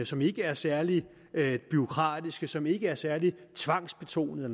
som ikke er særlig bureaukratiske som ikke er særlig tvangsbetonede